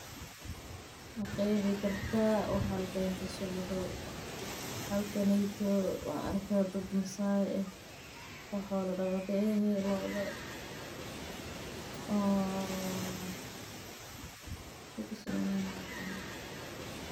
Ma qeexi kartaa waxa halkan kasocdo waxaan arkaa dad masaay ah oo xoola daqata ah.